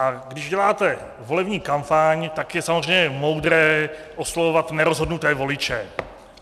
A když děláte volební kampaň, tak je samozřejmě moudré oslovovat nerozhodnuté voliče.